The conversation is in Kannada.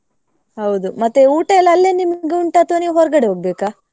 ಹೌದು ಮತ್ತೆ ಊಟ ಎಲ್ಲಾ ಅಲ್ಲೇ ನಿಮಿಗ್ ಉಂಟಾ ಅಥವಾ ನೀವ್ ಹೊರ್ಗಡೆ ಹೋಗ್ಬೇಕಾ?